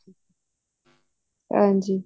ਹਾਂਜੀ